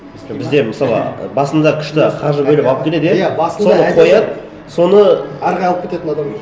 просто бізде мысалы басында күшті қаржы бөліп алып келеді иә басында соны қояды соны ары қарай алып кететін адам жоқ